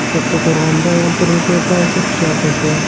Kattaqo‘rg‘onda ayol turmush o‘rtog‘iga pichoq urdi.